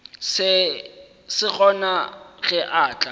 se gona ge a tla